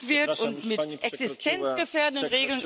Bardzo Pani dziękuję, przekroczyła Pani swój czas.